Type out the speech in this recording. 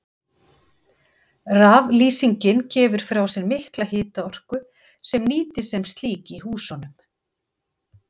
Raflýsingin gefur frá sér mikla hitaorku sem nýtist sem slík í húsunum.